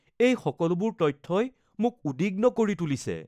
এই সকলোবোৰ তথ্যই মোক উদ্বিগ্ন কৰি তুলিছে